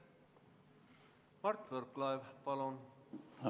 Mart Võrklaev, palun!